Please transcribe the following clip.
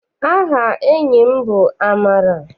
Aha enyi m bụ Amara.